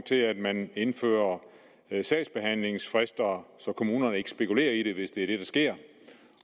til at man indfører sagsbehandlingsfrister så kommunerne ikke spekulerer i det hvis det er det der sker